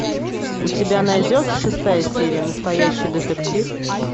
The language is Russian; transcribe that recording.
у тебя найдется шестая серия настоящий детектив